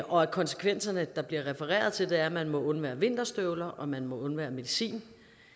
og konsekvenserne der bliver refereret til er at man må undvære vinterstøvler og man må undvære medicin